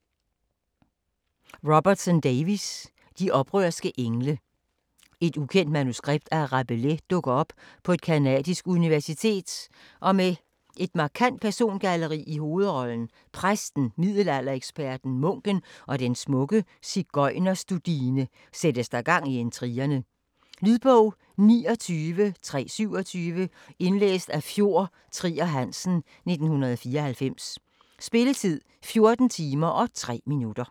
Davies, Robertson: De oprørske engle Et ukendt manuskript af Rabelais dukker op på et canadisk universitet, og med et markant persongalleri i hovedrollerne: præsten, middelaldereksperten, munken og den smukke sigøjnerstudine sættes der gang i intrigerne. Lydbog 29327 Indlæst af Fjord Trier Hansen, 1994. Spilletid: 14 timer, 3 minutter.